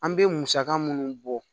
An bɛ musaka minnu bɔ